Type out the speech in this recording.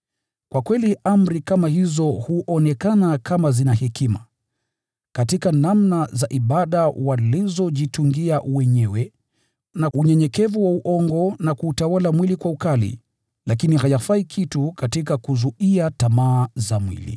Kwa kweli amri kama hizo huonekana kama zina hekima, katika namna za ibada walizojitungia wenyewe, na unyenyekevu wa uongo na kuutawala mwili kwa ukali, lakini hayafai kitu katika kuzuia tamaa za mwili.